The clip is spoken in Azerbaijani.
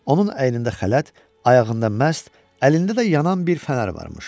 Onun əynində xələt, ayağında məst, əlində də yanan bir fənər varmış.